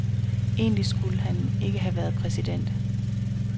Egentlig skulle han ikke have været præsident.